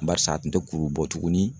Barisa a kun te kuru bɔ tuguni